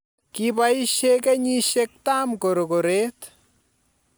Kiboishe kenyishek tam korokoret